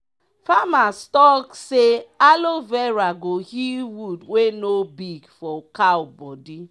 farmers talk say aloe vera go heal wound wey no big for cow bodi.